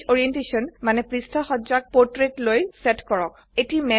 page orientation মানে পৃষ্ঠা সজ্জাক পোট্ৰেত লৈ সেট কৰক